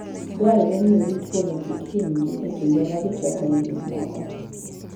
Dwarore ni orit bonyo kik hinygi e kinde ma gichokoe gik moko.